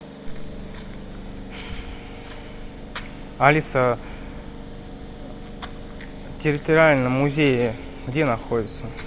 алиса территориально музеи где находятся